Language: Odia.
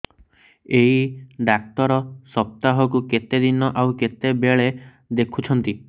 ଏଇ ଡ଼ାକ୍ତର ସପ୍ତାହକୁ କେତେଦିନ ଆଉ କେତେବେଳେ ଦେଖୁଛନ୍ତି